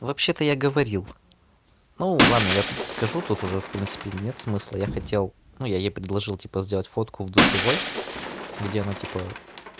вообще-то я говорил ну ладно я скажу тот уже в принципе нет смысла я хотел ну я ей предложил типа сделать фотку в душевой где она типа